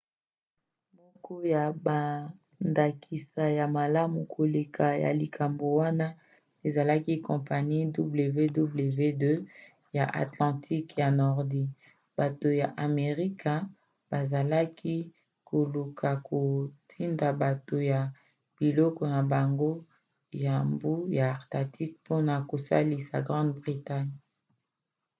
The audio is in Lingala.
moko ya bandakisa ya malamu koleka ya likambo wana ezalaki kampanie wwii ya atlantiqueya nordi. bato ya amerika bazalaki koluka kotinda bato na biloko na bango ya mbu ya atlantique mpona kosalisa grande bretagne